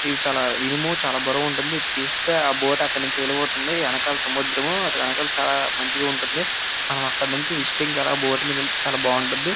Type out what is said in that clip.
ఇది ఇనుము చాల బరువుగా ఉంటుంది ఇది తిస్తె ఆ బోట్ అక్కడినుంచి వెలబోతుంది వెనకాల సముద్రము అటు వెనకాల చాల మంచిగా ఉంటుంది ఆహ్ అక్కడినుంచి విసిటింగ్ ఆలా బోట్ మిడి నుంచి వెళ్తే చాల బాగుంటుంది.